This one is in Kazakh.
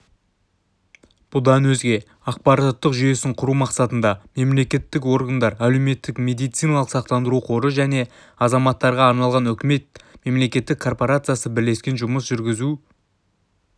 бұдан өзге ақпараттық жүйесін құру мақсатында мемлекеттік органдар әлеуметтік медициналық сақтандыру қоры және азаматтарға арналған үкімет мемлекеттік корпорациясы бірлескен жұмыс жүргізуде